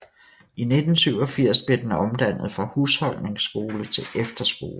I 1987 blev den omdannet fra husholdningsskole til efterskole